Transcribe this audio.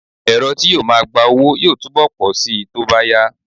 Ẹ̀̀rọ tí yóò máa gba owó yóò túbọ̀ pọ̀ síi tó bá yá